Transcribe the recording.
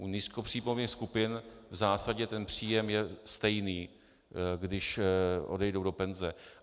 U nízkopříjmových skupin v zásadě ten příjem je stejný, když odejdou do penze.